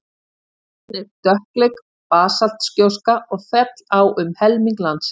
gjóskan er dökkleit basaltgjóska og féll á um helming landsins